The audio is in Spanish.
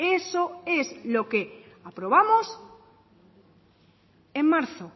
eso es lo que aprobamos en marzo